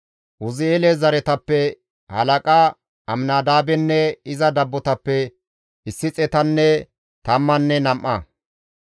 Uzi7eele zereththatappe halaqa Aminadaabenne iza dabbotappe issi xeetanne tammanne nam7a.